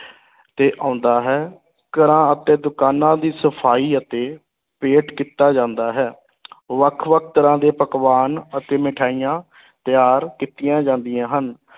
ਤੇ ਆਉਂਦਾ ਹੈ, ਘਰਾਂ ਅਤੇ ਦੁਕਾਨਾਂ ਦੀ ਸਫਾਈ ਅਤੇ ਪੇਂਟ ਕੀਤਾ ਜਾਂਦਾ ਹੈ ਵੱਖ-ਵੱਖ ਤਰ੍ਹਾਂ ਦੇ ਪਕਵਾਨ ਅਤੇ ਮਠਿਆਈਆਂ ਤਿਆਰ ਕੀਤੀਆਂ ਜਾਂਦੀਆਂ ਹਨ।